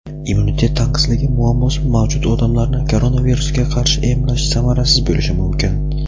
Immunitet tanqisligi muammosi mavjud odamlarni koronavirusga qarshi emlash samarasiz bo‘lishi mumkin.